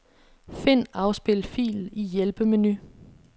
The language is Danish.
Find afspil fil i hjælpemenu.